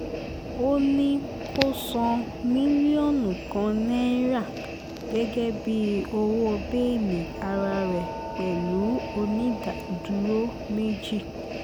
ó ní kó san mílíọ̀nù kan náírà gẹ́gẹ́ bíi owó bẹ́ẹ́lí ara rẹ̀ pẹ̀lú onídùúró méjì